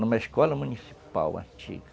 Numa escola municipal antiga.